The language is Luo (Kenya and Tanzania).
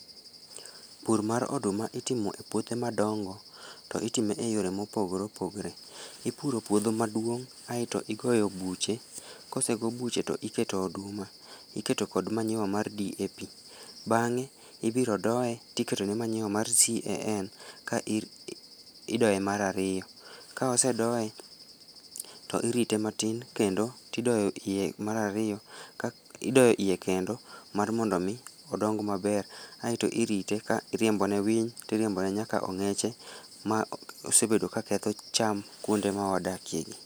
Pur mar oduma itimo e puothe madongo to itime e yore mopogore opogre. Ipuro puodho maduong' aeto igoyo buche kosego buche to iketo oduma, iketo kod manyiwa mar DAP. Bang'e ibiro doye tiketone manyiwa mar CAN ka idoye mar ariyo, ka osedoye to irite matin kendo tidoyo iye mar ariyo ka idoyo iye kendo mar mondo omi odong maber aeto irite ka iriembone winy tiriembone nyaka ong'eche ma osebedo ka ketho cham kuonde mawadakie gi.